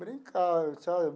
Brincar, sabe?